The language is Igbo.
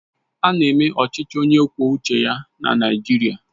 Ána eme ọchịchị onye kwuo uche ya na Naịjirịa